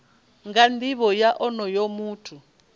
nga nivho ya onoyo muthu